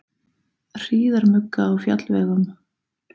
Hríðarmugga á fjallvegum